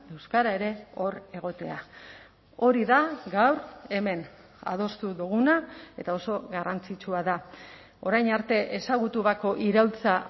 euskara ere hor egotea hori da gaur hemen adostu duguna eta oso garrantzitsua da orain arte ezagutu bako iraultza